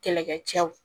Kɛlɛkɛcɛw